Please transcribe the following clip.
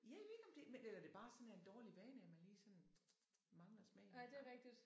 Ja jeg ved ikke om det men eller om det bare er en dårlig vane at man lige sådan mangler smagen nogle gange